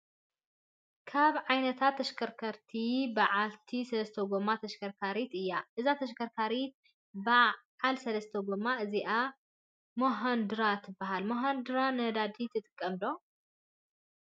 ካብ ዓይነታት ተሽከርከርቲ በዓልቲ ሰለስተ ጎማ ተሽከርካሪት እያ። እዛ ተሽከርካሪት በዓዕ ሰለስተ ጎማ እዚኣ ሙሃዱራ ትበሃል። መሃዱራ ነዳዲ ትጥቀም ዶ ?